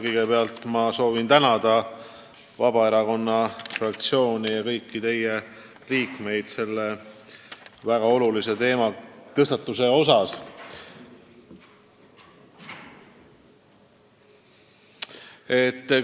Kõigepealt soovin tänada Vabaerakonna fraktsiooni selle väga olulise teema tõstatamise eest!